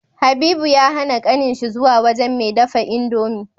Habibu ya hAna kanin shi zuwa wajan me dafa indomie